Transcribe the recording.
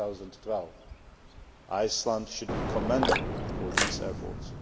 2012. Iceland should be commended for these efforts.